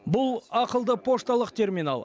бұл ақылды пошталық терминал